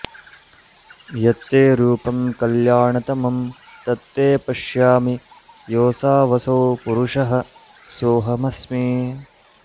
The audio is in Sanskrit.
यत्ते रूपं कल्याणतमं तत्ते पश्यामि योऽसावसौ पुरुषः सोऽहमस्मि